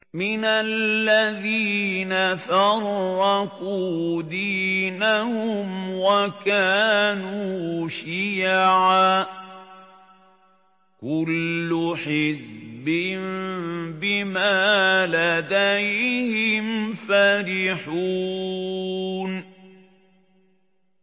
مِنَ الَّذِينَ فَرَّقُوا دِينَهُمْ وَكَانُوا شِيَعًا ۖ كُلُّ حِزْبٍ بِمَا لَدَيْهِمْ فَرِحُونَ